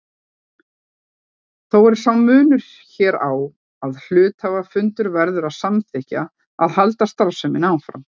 Þó er sá munur hér á að hluthafafundur verður að samþykkja að halda starfseminni áfram.